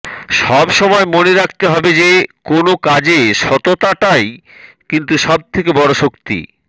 সব সময় মনে রাখতে হবে যে কোনো কাজে সততাটা কিন্তু সব থেকে বড় শক্তি